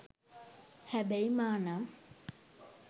හැබැයි මා නම්